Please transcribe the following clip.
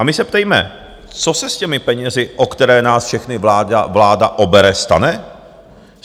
A my se ptejme - co se s těmi penězi, o které nás všechny vláda obere, stane?